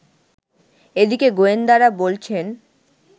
এদিকে গোয়েন্দারা বলছেন